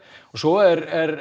og svo er